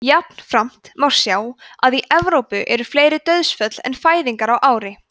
jafnframt má sjá að í evrópu eru fleiri dauðsföll en fæðingar á ári